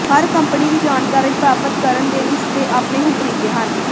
ਹਰ company ਦੀ ਜਾਣਕਾਰੀ ਪ੍ਰਾਪਤ ਕਰਨ ਦੇ ਇਸ ਦੇ ਆਪਣੇ ਹੀ ਤਰੀਕੇ ਹਨ